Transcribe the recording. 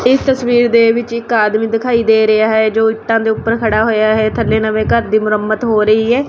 ਇਸ ਤਸਵੀਰ ਦੇ ਵਿੱਚ ਇੱਕ ਆਦਮੀ ਦਿਖਾਈ ਦੇ ਰਿਹਾ ਹੈ ਜੋ ਇੱਟਾਂ ਦੇ ਉੱਪਰ ਖੜਾ ਹੋਇਆ ਹੈ ਥੱਲੇ ਨਵੇਂ ਘਰ ਦੀ ਮੁਰੰਮਤ ਹੋ ਰਹੀ ਹੈ।